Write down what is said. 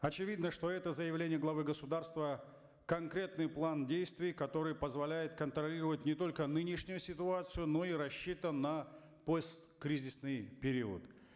очевидно что это заявление главы государства конкретный план действий который позволяет контролировать не только нынешнюю ситуацию но и рассчитан на посткризисный период